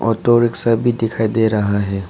और दो रिक्शा भी दिखाई दे रहा है।